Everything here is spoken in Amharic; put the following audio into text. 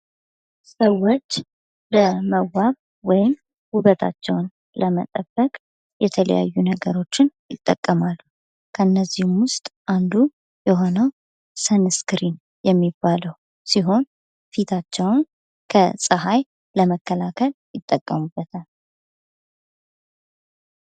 ሰዎች ለመዋብ ወይም ውበታቸውን ለመጠበቅ የተለያዩ ነገሮችን ይጠቀማሉ። ከእነዚህም ውስጥ አንዱ የሆነው ሰነስክሪን የሚባለው ሲሆን፤ ፊታቸውን ከፀሀይ ለመከላከል ይጠቀምበታል።